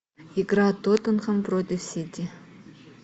игра тоттенхэм против сити